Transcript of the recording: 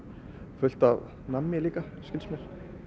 fullt af nammi líka skilst mér